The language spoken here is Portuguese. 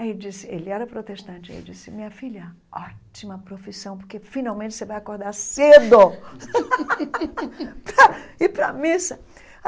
Aí ele disse, ele era protestante, ele disse, minha filha, ótima profissão, porque finalmente você vai acordar cedo para ir pra missa.